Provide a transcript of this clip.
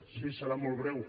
sí serà molt breu